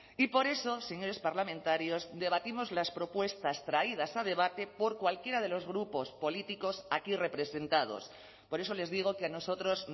y por eso señores parlamentarios debatimos las propuestas traídas a debate por cualquiera de los grupos políticos aquí representados por eso les digo que a nosotros